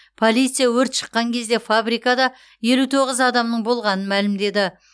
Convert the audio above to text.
полиция өрт шыққан кезде фабрикада елу тоғыз адамның болғанын мәлімдеді